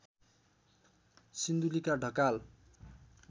सिन्धुलीका Dhakal